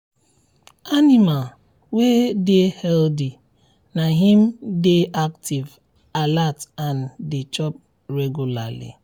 animal wey dey healthy na im dey active alert and dey chop regularly.